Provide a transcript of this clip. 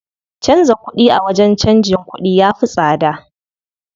Canza kuɗi a wajen canjin kuɗi ya fi tsada.